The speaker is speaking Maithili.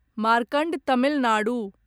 मार्कण्ड तमिल नाडु